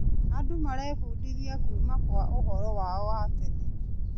Andũ marebindithia kuuma kwa ũhoro wao wa tene.